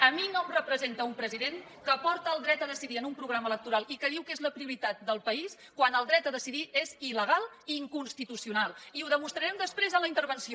a mi no em representa un president que porta el dret a decidir en un programa electoral i que diu que és la prioritat del país quan el dret a decidir és il·legal i inconstitucional i ho demostrarem després en la intervenció